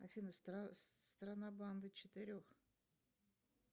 афина страна банды четырех